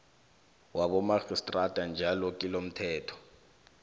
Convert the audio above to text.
wabomarhistrada njalo kilomthetho